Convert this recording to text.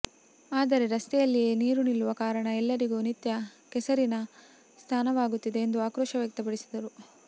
ಆದರೆ ರಸ್ತೆಯಲ್ಲಿಯೇ ನೀರು ನಿಲ್ಲುವ ಕಾರಣ ಎಲ್ಲರಿಗೂ ನಿತ್ಯ ಕೆಸರಿನ ಸ್ನಾನವಾಗುತ್ತಿದೆ ಎಂದು ಆಕ್ರೋಶ ವ್ಯಕ್ತಪಡಿಸಿದರು